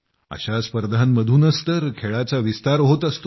अशा स्पर्धांमधूनच तर खेळाचा विस्तार होत असतो